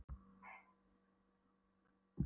Voru þau ekki einmitt að glugga í gestaskrána?